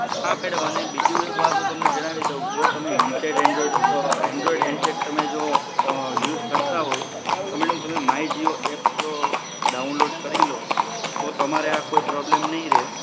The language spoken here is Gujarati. હા મેડમ અને બીજું એક વાત હું તમને જણાવી દઉં જો તમે હેન્ડસેટ એન્ડ્રોઇડ એન્ડ્રોઇડ હેન્ડસેટ તમે જો અમ યુઝ કરતા હોય તો મેડમ તમે માય જીઓ એપ જો ડાઉનલોડ કરી લો તો તો તમારે આ પ્રોબ્લેમ નહીં રે